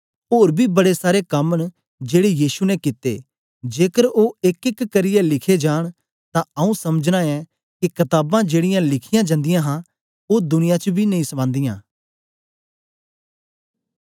ओर बी बड़े सारे कम न जेड़े यीशु ने कित्ते जेकर ओ एकएक करियै लिखे जान तां आऊँ समझना ऐं के कताबां जेड़ीयां लिखीयां जंदियां हां ओ दुनिया च बी नेई समांदीयां